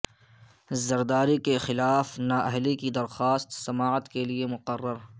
زرداری کے خلاف نااہلی کی درخواست سماعت کے لیے مقرر